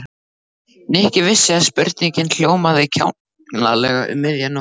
Nikki vissi að spurningin hljómaði kjánalega um miðja nótt.